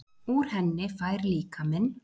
Úr henni fær líkaminn